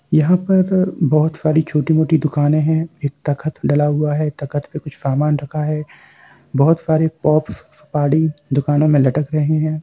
यहाँ पर बहुत सारी छोटी-मोटी दुकाने है एक तखट डला हुआ है तखट पे कुछ समान रखा है बहुत सारे पॉप्स सुपारी दुकानों में लटक रहे है।